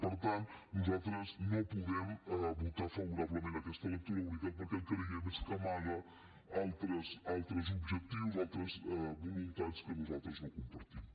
per tant nosaltres no podem votar favorablement aquesta lectura única perquè el que creiem és que amaga altres objectius altres voluntats que nosaltres no compartim